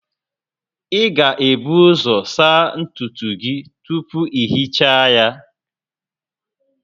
Ị ga-ebu ụzọ saa ntutu gị tupu ị hichaa ya